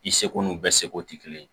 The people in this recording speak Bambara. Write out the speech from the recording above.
I seko n'u bɛɛ seko tɛ kelen ye